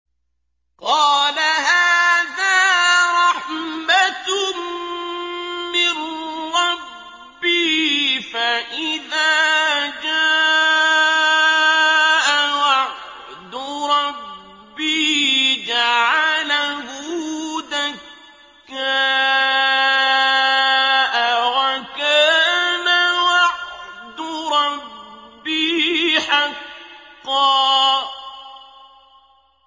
قَالَ هَٰذَا رَحْمَةٌ مِّن رَّبِّي ۖ فَإِذَا جَاءَ وَعْدُ رَبِّي جَعَلَهُ دَكَّاءَ ۖ وَكَانَ وَعْدُ رَبِّي حَقًّا